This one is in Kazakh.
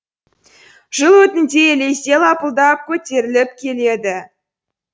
жел өтінде лезде лапылдап көтеріліп кетті